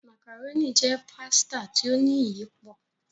Macaroni jé pàsìta tí o ní iyípo